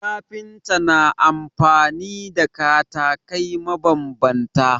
Kafinta na amfani da katakai mabambanta